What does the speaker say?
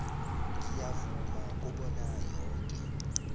ngiyavuma kobana yoke